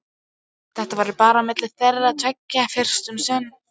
Þetta yrði bara á milli þeirra tveggja fyrst um sinn.